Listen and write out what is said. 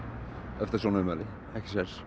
eftir svona ummæli ekki séns